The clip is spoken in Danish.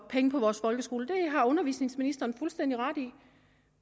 penge på vores folkeskole det har undervisningsministeren fuldstændig ret i